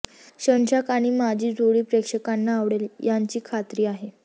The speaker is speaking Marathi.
शशांक आणि माझी जोडी प्रेक्षकांना आवडेल याची खात्री आहे